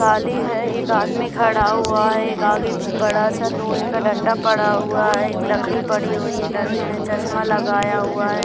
काली है एक आदमी खड़ा हुआ है एक आगे बड़ा सा लोहै का डंडा पड़ा हुआ है एक लकड़ी पड़ी हुई है लड़के ने चश्मा लगाया हुआ है।